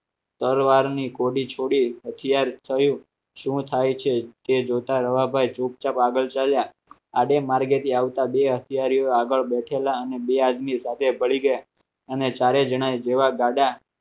ભરવાડ ની ઘોડી છોડી અત્યારે થયું શું થાય છે તે જોતા રવાભાઈ ચૂપચાપ આગળ ચાલ્યા આજે માર્ગેથી આવતા બે હથિયારીઓ આગળ બેઠેલા અને બે આદમી સાથે ભળી ગયા અને ચારે જણાએ જેવા ગાડા